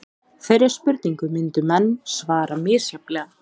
Þeirri spurningu myndu menn svara misjafnlega.